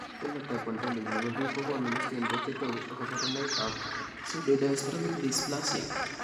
Phenotype ontology nebo biik kokoonu listini bo chetogu ak kaborunoik ab Pseudodiastrophic dysplasia